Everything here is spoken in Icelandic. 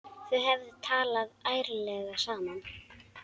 Þau hefðu talað ærlega saman.